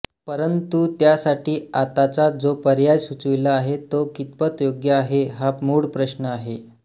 परंतु त्यासाठी आताचा जो पर्याय सुचविला आहे तो कितपत योग्य आहे हा मूळ प्रश्न आहे